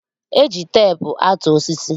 Eji teepu atụ osisi